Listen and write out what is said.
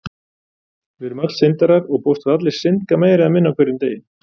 Við erum öll syndarar og bókstaflega allir syndga meira eða minna á hverjum degi.